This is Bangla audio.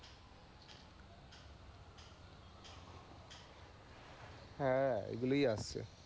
হ্যাঁ, ঐ গুলোই আসছে